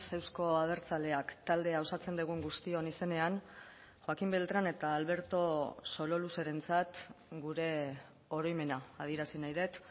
euzko abertzaleak taldea osatzen dugun guztion izenean joaquín beltrán eta alberto sololuzerentzat gure oroimena adierazi nahi dut